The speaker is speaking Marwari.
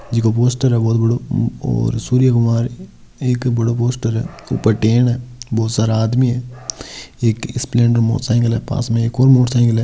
जिको पोस्टर है बहुत बड़ो और सूर्यकुमार एक बड़ो पोस्टर है ऊपर टेन है बहुत सारा आदमी है एक स्प्लेंडर मोटरसाइकिल है पास में एक और मोटरसाइकिल है।